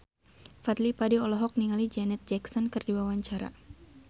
Fadly Padi olohok ningali Janet Jackson keur diwawancara